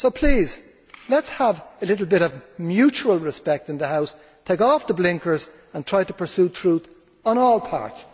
So please let us have a little bit of mutual respect in the House, take off the blinkers and try to pursue truth on all parts.